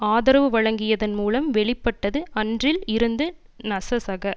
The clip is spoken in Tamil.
ஆதரவு வழங்கியதன் மூலம் வெளி பட்டது அன்றில் இருந்து நசசக